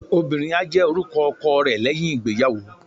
obìnrín a jè orúkọ ọkọ re leyín ìgbéyàwó